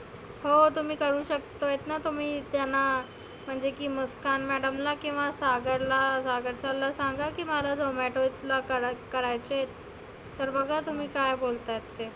होय तुम्ही करु शकतोत ना तुम्ही त्यांना म्हणजे की मस्कान madam ला किंवा सागर ला सागर sir ला सांगा की मला Zomato ला करा करायचं आहे. तर बघा तुम्ही काय बोलतात ते.